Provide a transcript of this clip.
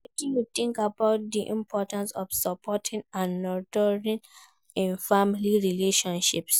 Wetin you think about di importance of support and nurturing in family relationships?